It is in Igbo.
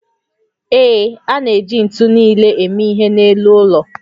Ee, a na-eji ntu nile eme ihe n'elu ụlọ